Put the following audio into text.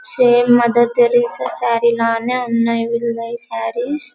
Same Mother Teresa sari లానే ఉన్నాయి సారీస్ .